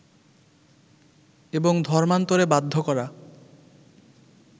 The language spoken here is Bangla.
এবং ধর্মান্তরে বাধ্য করা